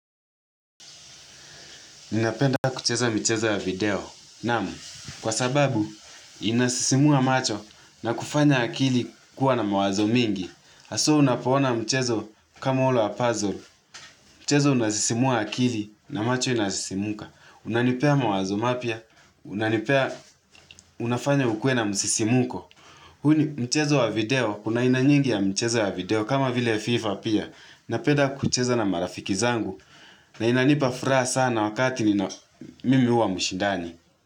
Ninapenda kucheza michezo ya video. Namu, kwa sababu, inasisimua macho na kufanya akili kuwa na mawazo mingi. Haswa unapo ona mchezo kama ulo wa puzzle. Mchezo unasisimua akili na macho inasisimuka. Unanipea mawazo mapya. Unanipea unafanya ukuwe na msisimuko. Huu ni mchezo wa video, kuna aina nyingi ya mchezo wa video kama vile FIFA pia. Napenda kucheza na marafiki zangu na inanipa furaha sana wakati nina mimi huwa mshindani.